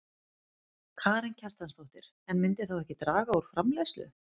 Karen Kjartansdóttir: En myndi þá ekki draga úr framleiðslu?